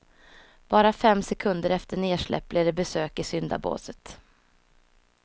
Bara fem sekunder efter nedsläpp blev det besök i syndabåset.